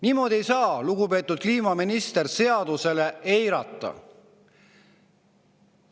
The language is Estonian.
" Niimoodi ei saa, lugupeetud kliimaminister, seadust eirata.